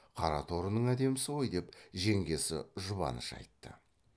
қара торының әдемісі ғой деп жеңгесі жұбаныш айтты